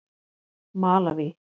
Malaví